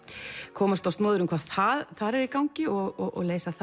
komast á snoðir um hvað þar er í gangi og leysa það